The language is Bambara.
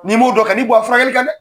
Ni dɔ kan ni furakɛli kan dɛ.